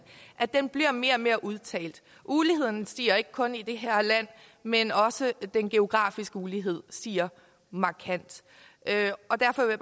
bliver mere og mere udtalt uligheden stiger ikke kun i det her land men også den geografiske ulighed stiger markant derfor vil